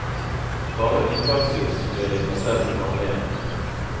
Bare unntaksvis blir de plassert på gamlehjem.